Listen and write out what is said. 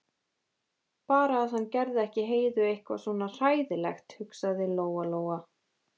Bara að hann geri ekki Heiðu eitthvað svona hræðilegt, hugsaði Lóa-Lóa.